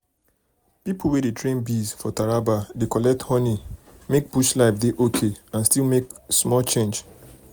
people wey dey train bees for taraba dey collect honey make bush life dey okay and still make small change.